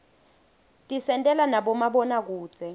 tisentela nabomabonakudze